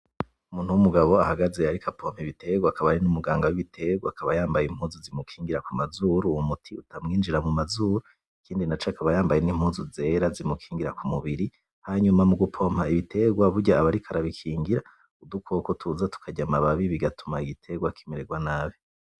Umuntu w'umugabo ahagaze ariko apompa ibitegwa akaba ari n'umuganga w'ibitegwa akaba yambaye yambaye impuzu zimukingira kumazuru uwo muti utamwinjira mumazuru ikindi naco akaba yambaye n'impuzu zera zimukingira kumubiri hanyuma mugupompa ibitegwa burya aba ariko arabikingira udukoko tuza tukarya amababi bitugatuma igitegwa kimererwa nabi.